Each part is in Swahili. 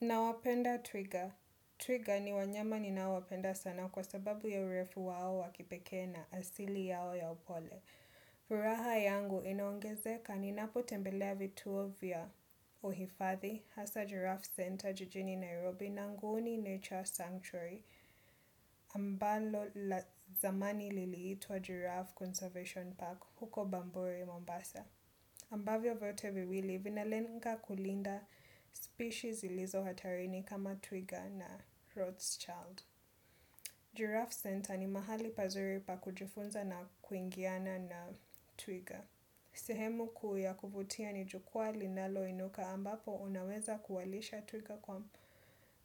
Na wapenda twiga. Twiga ni wanyama ni naowapenda sana kwa sababu ya urefu wao wakipeke na asili yao ya upole. Furaha yangu inaongeze kani napo tembelea vituo vya uhifadhi, hasa giraffe center jijini Nairobi na nguuni nature sanctuary. Ambalo zamani liliitua giraffe conservation park huko bamburi Mombasa. Ambavyo vyote viwili vinalenga kulinda species ilizo hatarini kama Twiga na Rothschild. Giraffe Center ni mahali pazuri pa kujifunza na kuingiana na Twiga. Sehemu kuyakuvutia ni jukwa linalo inuka ambapo unaweza kuwalisha Twiga kwa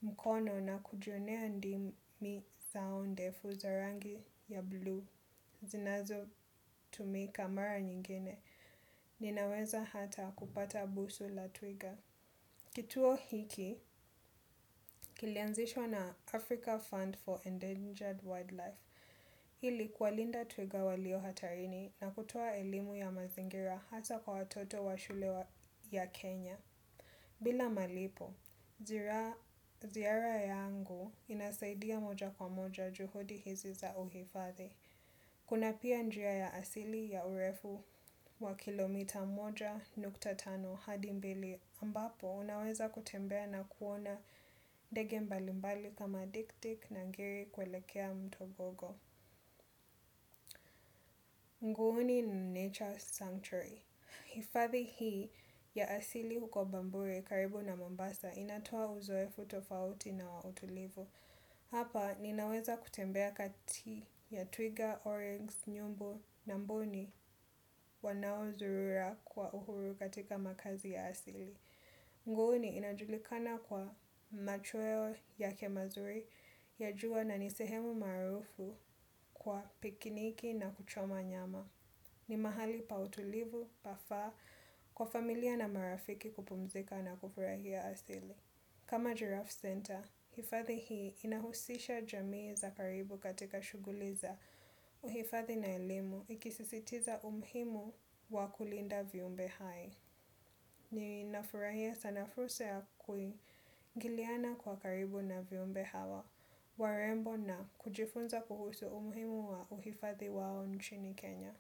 mkono na kujionea ndimi zao ndefu za rangi ya blue. Zinazo tumika mara nyingine. Ninaweza hata kupata busu la Twiga. Kituo hiki, kilianzishwa na Africa Fund for Endangered Wildlife. Hili kualinda Twiga walio hatarini na kutua elimu ya mazingira hasa kwa watoto wa shule ya Kenya. Bila malipo, zira ziara yangu inasaidia moja kwa moja juhudi hizi za uhifadhi. Kuna pia njia ya asili ya urefu wa kilomita moja nukta tano hadi mbili ambapo unaweza kutembea na kuona ndege mbali mbali kama diktik na ngiri kwelekea mtobogo. Nguuni ni Nature Sanctuary. Ifadhi hii ya asili huko bamburi karibu na mombasa inatoa uzoe futofauti na wa utulivu. Hapa ninaweza kutembea kati ya twiga, orange, nyumbu na mboni wanao zurura kwa uhuru katika makazi ya asili. Nguuni inajulikana kwa machweo yake mazuri ya juwa na nisehemu marufu kwa pikiniki na kuchoma nyama. Ni mahali pa utulivu, pa faa, kwa familia na marafiki kupumzika na kufurahia asili. Kama Giraffe Center, hifadhi hii inahusisha jamii za karibu katika shuguli za uhifadhi na ilimu ikisisitiza umhimu wa kulinda viumbe hai. Ni nafurahia sanafuse ya kui, giliana kwa karibu na viumbe hawa, warembo na kujifunza kuhusu umhimu wa uhifadhi wao nchini Kenya.